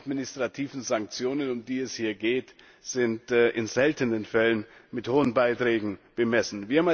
Die administrativen Sanktionen, um die es hier geht, sind in seltenen Fällen mit hohen Beiträgen bemessen.